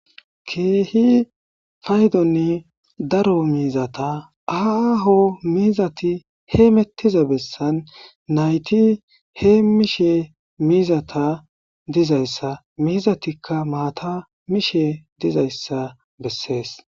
keehi faydonni daro miizata aaho miizati hee mettiza bessan nayti he mishe miizata dizayssa mizatikka maata mishe dizayssa bessees